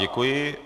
Děkuji.